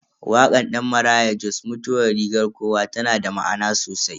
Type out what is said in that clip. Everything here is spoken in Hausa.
Wakar Dan Maraya Jos "Mutuwa rigar kowa" tana da ma'ana sosai.